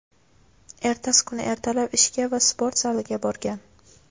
ertasi kuni ertalab ishga va sport zaliga borgan.